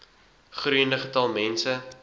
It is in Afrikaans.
groeiende getal mense